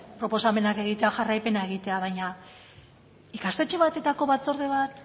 proposamenak egitea jarraipena egitea baina ikastetxe bateko batzorde bat